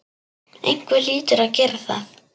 Einhver hlýtur að gera það.